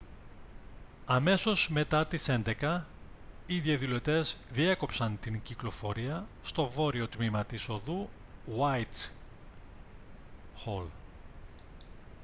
αμέσως μετά τις 11.00 οι διαδηλωτές διέκοψαν την κυκλοφορία στο βόρειο τμήμα της οδού γουάιτχολ